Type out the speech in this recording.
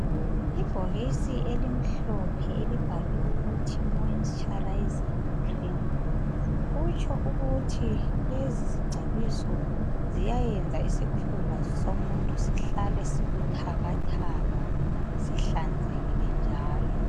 Ibhokisi elimhlophe elibhalwe ukuthi moisturising cream kutsho ukuthi lezi zingcobiso ziyayenza isikhumba somuntu sihlale sibuthakathaka sihlanzekile njalo.